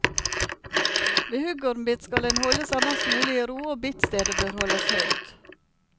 Ved huggormbitt skal en holde seg mest mulig i ro og bittstedet bør holdes høyt.